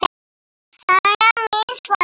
Sagan mín, svarar hann.